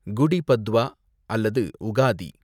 குடி பத்வா அல்லது உகாதி